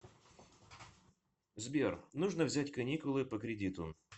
сбер нужно взять каникулы по кредиту